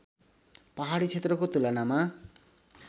पहाडी क्षेत्रको तुलनामा